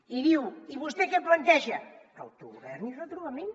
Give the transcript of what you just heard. i diu i vostè què planteja autogovern i retrobament